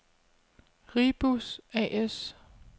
Ri-Bus A/S